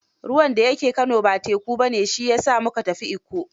Ruwan da ya ke Kano ba teku ba ne, shi ya sa mu ka tafi Ikko.